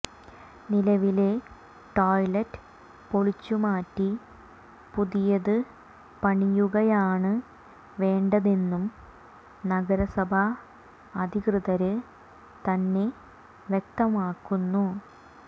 നിലവിലെ ടോയ്ലറ്റ് പൊളിച്ചുമാറ്റി പുതിയത് പണിയുകയാണ് വേണ്ടതെന്നും നഗരസഭാ അധികൃതര് തന്നെ വ്യക്തമാക്കുന്നു